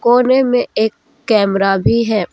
कोने में एक कैमरा भी है।